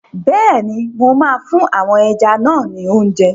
Bẹ́ẹ̀ni, mo máa fún àwọn ẹja náà ni óúnjẹ.